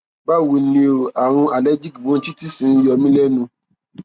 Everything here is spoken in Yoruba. báwo ni o àrùn allergic bronchitis ń yọ mí lẹnu